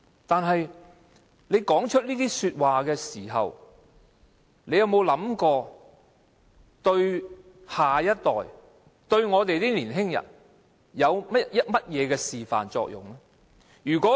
但是，他說出這些話時，有否想過會對下一代及年輕人有甚麼示範作用呢？